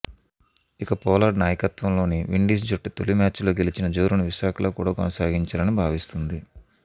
ఇక పొలార్డ్ నాయకత్వంలోని విండీస్ జట్టు తొలి మ్యాచ్ లో గెలిచిన జోరును విశాఖలో కూడా కొనసాగించాలని భావిస్తోంది